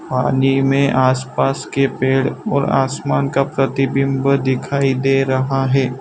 पानी मे आसपास के पेड़ और आसमान का प्रतिबिंब दिखाई दे रहा है।